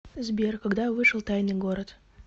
сбер когда вышел тайный город